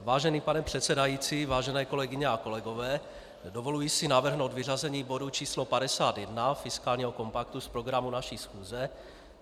Vážený pane předsedající, vážené kolegyně a kolegové, dovoluji si navrhnout vyřazení bodu číslo 51, fiskálního kompaktu, z programu naší schůze.